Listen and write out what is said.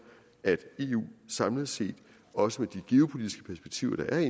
at eu samlet set også med de geopolitiske perspektiver der er